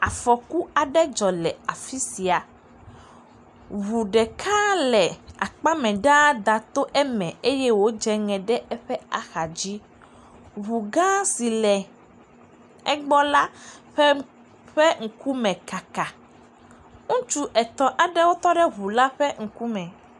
Afɔku aɖe dzɔ le afi sia. Ŋu ɖeka le akpa mɛ ɖa da to eme eye wodze ŋe ɖe eƒe axa dzi. Ŋu gã si le egbɔ la ƒe ƒe ŋkume kaka. Ŋutsu etɔ̃ aɖewo tɔ ɖe ŋu la ƒe ŋkume.